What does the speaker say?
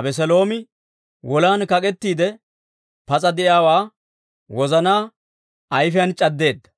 Abeseeloomi wolan kak'ettiide pas'a de'iyaawaa wozana ayfiyaan c'addeedda.